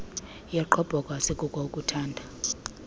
yogqobhoko asikuko ukuuthanda